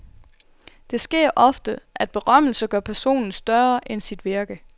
Det sker ofte, at berømmelse gør personen større end sit virke.